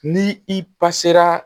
Ni i pasera